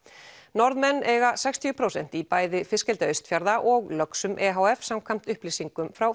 Norðmenn eiga sextíu prósent í bæði fiskeldi Austfjarða og löxum e h f samkvæmt upplýsingum frá